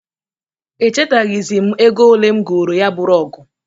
Echataghịzị m ego olee m goro ya bụ rọgụ.